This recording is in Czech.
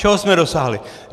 Čeho jsme dosáhli?